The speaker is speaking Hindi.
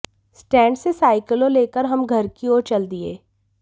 स्टैंड से साइकिलें लेकर हम घर की ओर चल दिये